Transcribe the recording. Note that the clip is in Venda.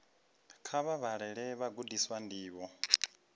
kha vha vhalele vhagudiswa ndivho